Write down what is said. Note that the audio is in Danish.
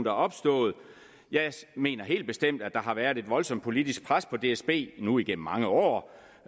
er opstået jeg mener helt bestemt at der har været et voldsomt politisk pres på dsb nu igennem mange år